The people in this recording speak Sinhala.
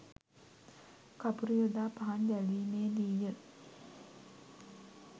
කපුරු යොදා පහන් දැල්වීමේ දී ය